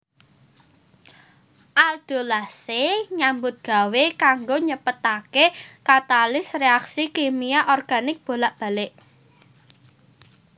Aldolase nyambut gawé kanggo nyepetake katalis reaksi kimia organik bolak balik